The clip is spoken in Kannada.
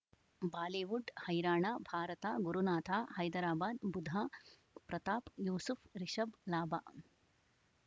ಬಾಲಿವುಡ್ ಹೈರಾಣ ಭಾರತ ಗುರುನಾಥ ಹೈದರಾಬಾದ್ ಬುಧ ಪ್ರತಾಪ್ ಯೂಸುಫ್ ರಿಷಬ್ ಲಾಭ